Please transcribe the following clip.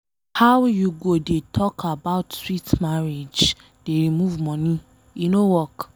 How you go dey talk about sweet marriage dey remove money, e no work.